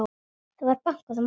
Það var bankað á móti.